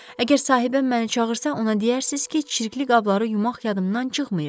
Əgər sahibəm məni çağırsa, ona deyərsiniz ki, çirkli qabları yumaq yadımdan çıxmayıb.